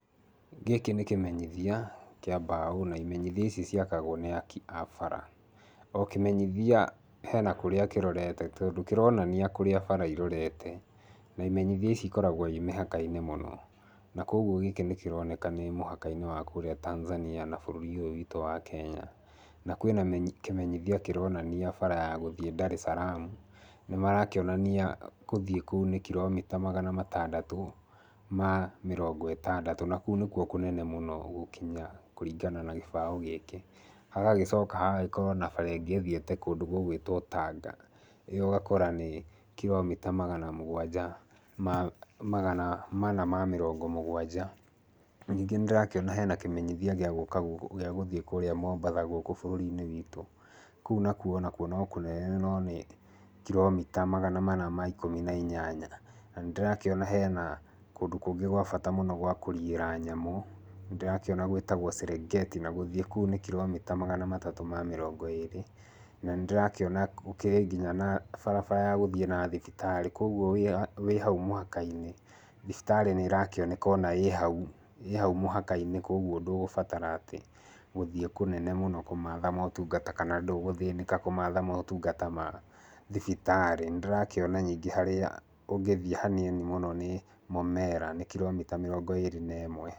Gĩkĩ nĩ kĩmenyithia kĩa mbaũ na imenyithia ici ciakagwo nĩ aki a bara. O kĩmenyithia hena kũrĩa kĩrorete tondũ kĩronania kũrĩa bara irorete. Na imenyithia ici ikoragwo ii mĩhaka-inĩ mũno. Na kwoguo gĩkĩ nĩ kĩroneka nĩ mũhaka-inĩ wa kũrĩa Tanzania na bũrũri ũyũ witũ wa Kenya. Na kwĩna kĩmenyithia kĩronania bara ya gũthiĩ Daresalaam. Nĩ marakĩonania gũthiĩ kũu nĩ kiromita magana matandatũ ma mĩrongo ĩtandatũ, na kũu nĩkuo kũnene mũno gũkinya kũringana na gĩbaũ gĩkĩ. Hagagĩkorwo na bara ĩngĩ ĩthiĩte Tanga, ĩyo ũgakora nĩ kiromita magana mũgwanja ma magana mana ma mĩrongo mũgwanja. Ningĩ nĩ ndĩrakĩona hena kĩmenyithia gĩa gũthiĩ kũrĩa Mombasa gũkũ bũrũri-inĩ witũ. Kũu nakuo no kũnene no nĩ kiromita magana mana ma ikũmi na inyanya. Na nĩ ndĩrakĩona hena kũndu kũngĩ gwa bata mũno gwa kũriĩra nyamũ, nĩ ndĩrakĩona gwĩtagwo Serengeti. Na gũthiĩ kũu nĩ kiromita magana matatũ ma mĩrongo ĩĩrĩ. Na nĩ nĩdĩrakĩona gũkĩrĩ nginya na barabara ya gũthiĩ na thibitarĩ. Kwoguo wĩ hau mũhaka-inĩ thibitarĩ nĩ ĩrakĩoneka ona ĩĩ hau mũhaka-inĩ, koguo ndũgũbatara atĩ gũthiĩ kũnene mũno kũmaatha motungata kana ndũgũthĩnĩka kũmatha motungata ma thibitarĩ. Nĩ ndĩrakĩona ningĩ harĩa ũngĩthiĩ hanini mũno nĩ Mũmera, nĩ kiromita mĩrongo ĩĩrĩ na ĩmwe.